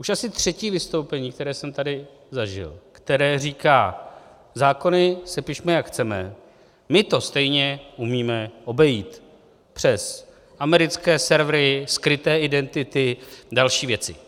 Už asi třetí vystoupení, které jsem tady zažil, které říká: zákony sepišme, jak chceme, my to stejně umíme obejít přes americké servery, skryté identity a další věci.